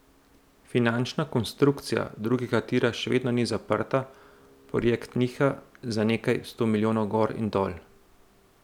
Finančna konstrukcija drugega tira še vedno ni zaprta, projekt niha za nekaj sto milijonov gor in dol.